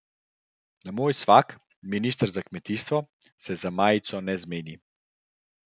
Moj svak, minister za kmetijstvo, se za majico ne zmeni.